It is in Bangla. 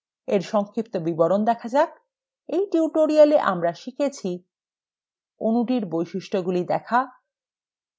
এর সংক্ষিপ্ত বিবরণ দেখা যাক এই tutorial আমরা শিখেছি: অণুটির বৈশিষ্ট্যগুলি দেখুন